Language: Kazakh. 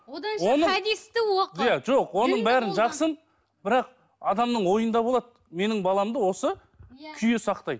одан да хадисті оқы жоқ онын бәрін жақсын бірақ адамнын ойында болады менің баламды осы күйе сақтайды